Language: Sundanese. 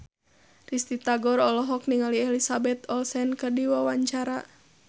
Risty Tagor olohok ningali Elizabeth Olsen keur diwawancara